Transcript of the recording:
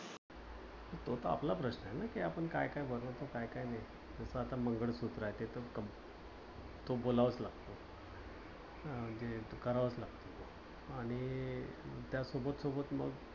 तो तर आपला प्रश्न आहे ना कि आपण काय काय घालायचं काय काय नाही. जस आता मंगळसूत्र आहे ते तर बोलावंच लागत करावच लागत.